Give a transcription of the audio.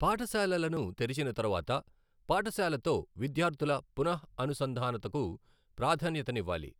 పాఠశాలలను తెరిచిన తరువాత పాఠశాలతో విద్యార్ధుల పునః అనుసంధానతకు ప్రాధాన్యతనివ్వాలి